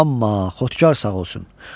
Amma, Xodkar sağ olsun.